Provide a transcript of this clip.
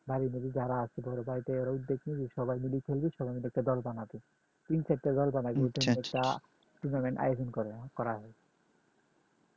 সবাই মিলেই খেলবে সবাইমিলেই একটা দল বানাবে তিন-চারটা দল বানিয়ে টা tournament আয়োজন করা হয়